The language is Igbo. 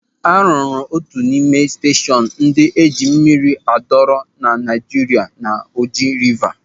A rụrụ otu n'ime steshọn ndị eji mmiri adọrọ na Naịjirịa na Oji Rịva.